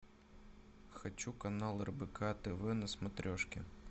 хочу канал рбк тв на смотрешке